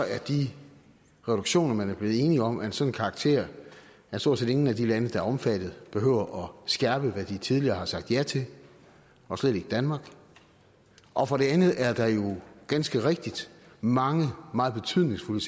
er de reduktioner man er blevet enige om af en sådan karakter at stort set ingen af de lande der er omfattet behøver at skærpe hvad de tidligere har sagt ja til og slet ikke danmark og for det andet er der jo ganske rigtigt mange meget betydningsfulde